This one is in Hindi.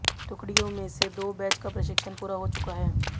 टुकड़ियों में से दो बैच का प्रशिक्षण पूरा हो चुका है